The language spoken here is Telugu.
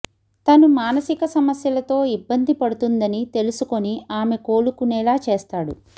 తను మానసిక సమస్యలతో ఇబ్బంది పడుతుందని తెలుసుకొని ఆమె కోలుకునేలా చేస్తాడు